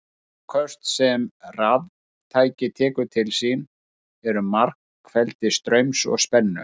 Afköst sem raftæki tekur til sín eru margfeldi straums og spennu.